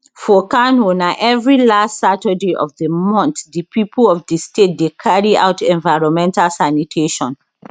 for kano na evri last saturday of di month di pipo of di state dey carry out environmental sanitation